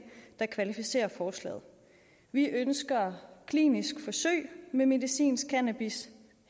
der kvalificerer forslaget vi ønsker kliniske forsøg med medicinsk cannabis